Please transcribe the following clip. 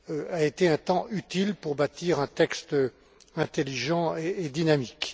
a été un temps utile pour bâtir un texte intelligent et dynamique.